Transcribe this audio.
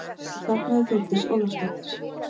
Nú þagnaði Þórdís Ólafsdóttir.